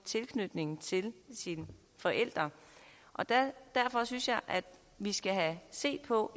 tilknytningen til sine forældre derfor synes jeg at vi skal se på